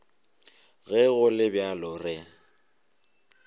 ge go le bjalo re